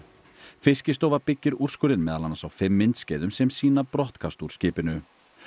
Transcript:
Fiskistofa byggir úrskurðinn meðal annars á fimm myndskeiðum sem sýna brottkast úr skipinu